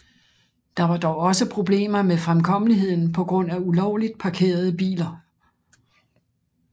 Der var dog også problemer med fremkommeligheden på grund af ulovligt parkerede biler